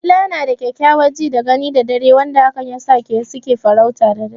Dila na da kyakkyawar ji da gani da dare wanda hakan yasa su ke farauta da dare.